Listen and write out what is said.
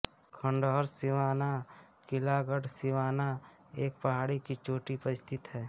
खंडहर सिवाना किला गढ़ सिवाना एक पहाड़ी की चोटी पर स्थित है